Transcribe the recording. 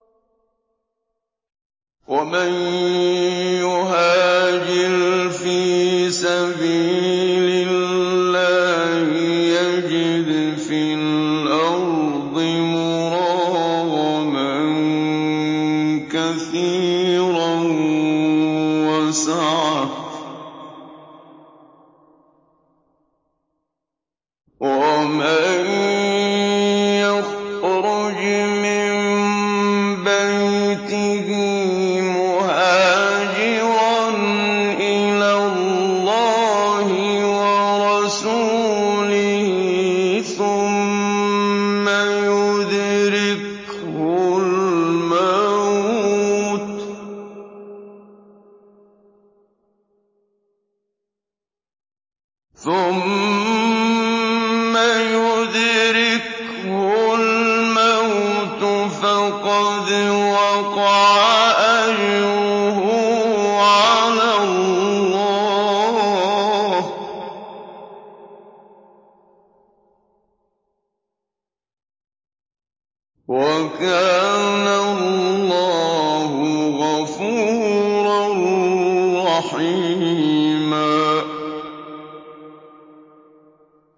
۞ وَمَن يُهَاجِرْ فِي سَبِيلِ اللَّهِ يَجِدْ فِي الْأَرْضِ مُرَاغَمًا كَثِيرًا وَسَعَةً ۚ وَمَن يَخْرُجْ مِن بَيْتِهِ مُهَاجِرًا إِلَى اللَّهِ وَرَسُولِهِ ثُمَّ يُدْرِكْهُ الْمَوْتُ فَقَدْ وَقَعَ أَجْرُهُ عَلَى اللَّهِ ۗ وَكَانَ اللَّهُ غَفُورًا رَّحِيمًا